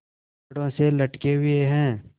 छड़ों से लटके हुए हैं